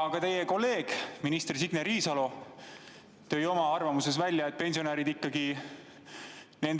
Aga teie kolleeg minister Signe Riisalo tõi oma arvamuses välja, et pensionäride